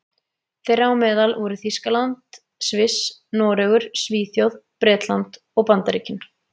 Þeirra á meðal voru Þýskaland, Sviss, Noregur, Svíþjóð, Bretland og Bandaríkin.